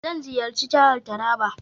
Zan ziyarci jihar Taraba.